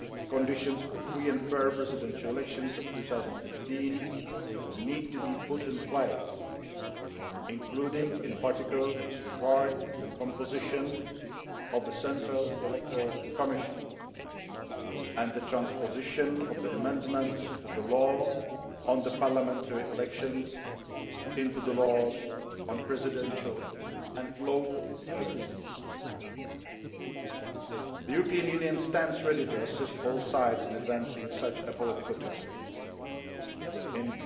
Conditions for free and fair presidential elections in 2015 will need to be put in place, including in particular with regard to the composition of the Central Electoral Commission and the transposition of the amendments to the law on parliamentary elections into the laws on presidential and local elections. The European Union stands ready to assist all sides in advancing along such a political track.